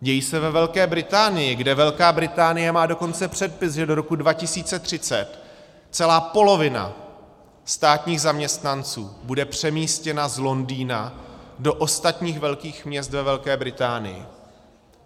Dějí se ve Velké Británii, kde Velká Británie má dokonce předpis, že do roku 2030 celá polovina státních zaměstnanců bude přemístěna z Londýna do ostatních velkých měst ve Velké Británii.